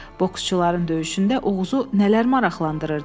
Boksçuların döyüşündə Oğuzu nələr maraqlandırırdı?